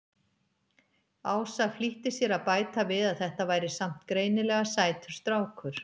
Ása flýtti sér að bæta við að þetta væri samt greinilega sætur strákur.